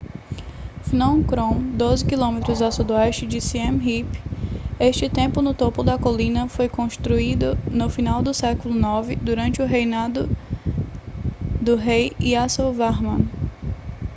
phnom krom 12 km a sudoeste de siem reap este templo no topo da colina foi construído no final do século 9 durante o reinado do rei yasovarman